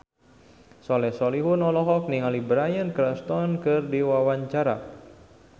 Soleh Solihun olohok ningali Bryan Cranston keur diwawancara